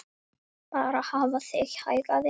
Bara hafa þig hæga, vina.